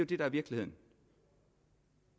det der er virkeligheden